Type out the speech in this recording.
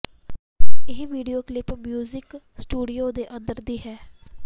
ਇਹ video clip music studio ਦੇ ਅੰਦਰ ਦੀ ਹੈ